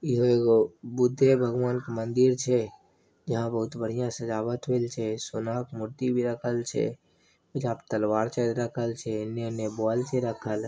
ईहे एगो बुद्धे भगवान के मंदिर छै यहां बहुत बढ़िया सजावट होयल छै सोना के मूर्ति भी रखल छै एजा पर तलवार छै रखल छै एने उने बोल छै रखल।